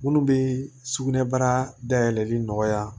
Minnu bɛ sugunɛbara dayɛlɛli nɔgɔya